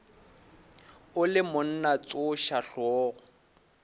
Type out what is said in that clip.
o le monna tsoša hlogo